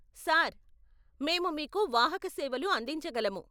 Sir, మేము మీకు వాహక సేవలు అందించగలము.